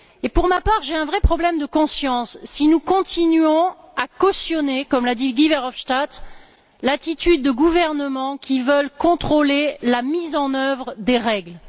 Pour ma part, j'ai un vrai problème de conscience, si nous continuons à cautionner comme l'a dit Guy Verhofstadt l'attitude de gouvernements qui veulent contrôler la mise en œuvre des règles.